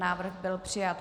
Návrh byl přijat.